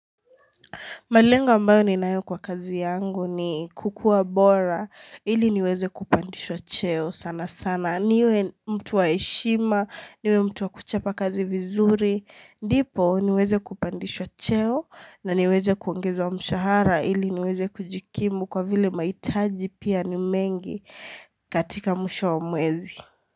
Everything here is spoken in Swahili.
Malengalo ambayo ninayo kwa kazi yangu ni kukuwa bora, ili niweze kupandishwa cheo sana sana. Niwe mtu wa heshima, niwe mtu wa kuchapa kazi vizuri. Ndipo niweze kupandishwa cheo na niweze kuongezwa mshahara ili niweze kujikimu kwa vile mahitaji pia ni mengi katika mwisho wa mwezi.